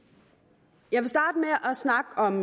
jeg at snakke om